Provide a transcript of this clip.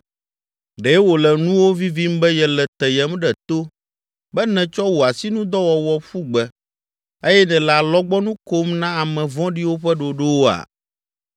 Ɖe wòle nuwò vivim be yele teyem ɖe to, be nètsɔ wò asinudɔwɔwɔ ƒu gbe eye nèle alɔgbɔnu kom na ame vɔ̃ɖiwo ƒe ɖoɖowoa?